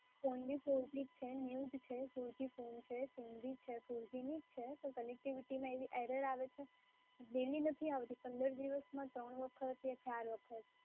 Phone બી four g છે new જ છે four g ફોન છે, સીમ બી છે four g ની જ છે, પણ connectivity માં એવી error આવે છે, daily નથી આવતી, પંદર દિવસમાં ત્રણ વખત યા ચાર વખત.